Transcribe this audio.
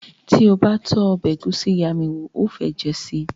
Ti o ba tó ọbẹ egusi iya mi wo, o o fe jẹ sii